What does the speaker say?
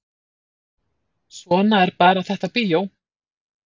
Svona er bara þetta bíó